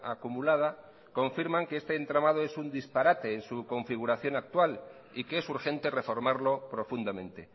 acumulada confirman que este entramado es un disparate en su configuración actual y que es urgente reformarlo profundamente